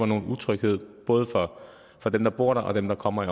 noget utryghed både for dem der bor der og dem der kommer i